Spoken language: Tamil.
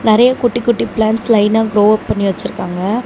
நறையா குட்டி குட்டி பிளான்ட்ஸ் லைனா க்ரோ அப் பண்ணி வச்சிருக்காங்க.